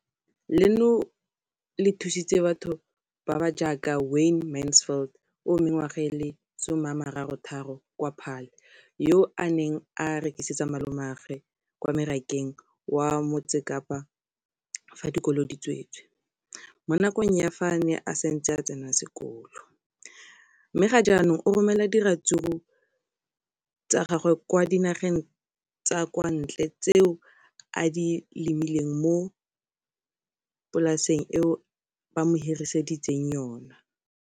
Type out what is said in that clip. Leno le thusitse batho ba ba jaaka Wayne Mansfield, 33, wa kwa Paarl, yo a neng a rekisetsa malomagwe kwa Marakeng wa Motsekapa fa dikolo di tswaletse, mo nakong ya fa a ne a santse a tsena sekolo, mme ga jaanong o romela diratsuru tsa gagwe kwa dinageng tsa kwa ntle tseo a di lemileng mo polaseng eo ba mo hiriseditseng yona.